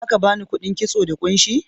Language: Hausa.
Za ka ba ni kuɗin kitso da kunshi?